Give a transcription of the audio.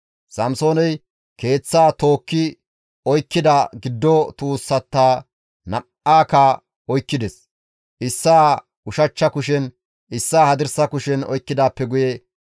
Samsooney keeththaa tookki oykkida giddo tuussata nam7aakka oykkides; issaa ushachcha kushen, issaa hadirsa kushen oykkidaappe guye,